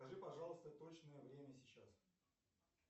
скажи пожалуйста точное время сейчас